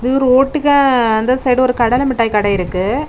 இது ஒரு ரோட்டுக்கா அந்த சைடு ஒரு கடலமிட்டாய் கடெ இருக்கு.